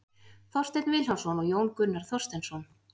Þorsteinn Vilhjálmsson og Jón Gunnar Þorsteinsson.